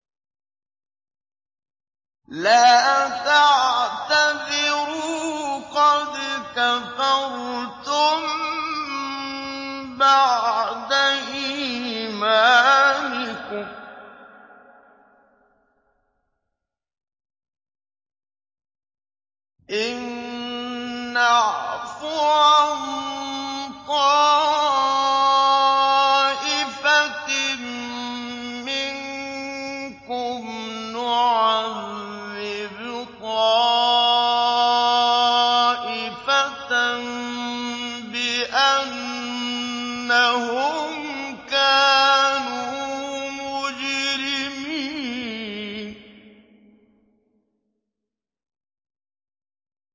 لَا تَعْتَذِرُوا قَدْ كَفَرْتُم بَعْدَ إِيمَانِكُمْ ۚ إِن نَّعْفُ عَن طَائِفَةٍ مِّنكُمْ نُعَذِّبْ طَائِفَةً بِأَنَّهُمْ كَانُوا مُجْرِمِينَ